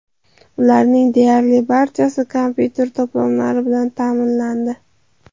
Ularing deyarli barchasi kompyuter to‘plamlari bilan ta’minlandi.